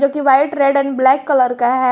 कि white red and black colour का है।